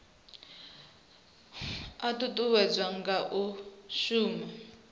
a ṱuṱuwedzwa nga u shumisa